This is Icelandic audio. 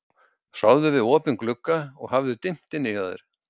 Sofðu við opinn glugga og hafðu dimmt inni hjá þér.